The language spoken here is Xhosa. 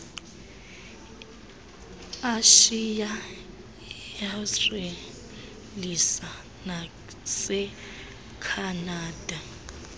eashiya eaustralisa nasekhanada